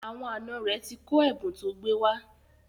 Àwọn àna rẹ̀ ti kọ ẹ̀bùn tó gbé wá.